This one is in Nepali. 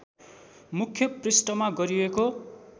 मुख्य पृष्ठमा गरिएको